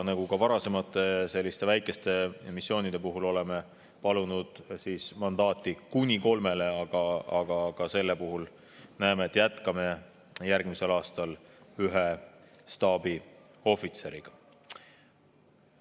Nagu ka varasemate selliste väikeste missioonide puhul oleme palunud mandaati kuni kolmele, aga selle puhul näeme, et jätkame järgmisel aastal ühe staabiohvitseriga.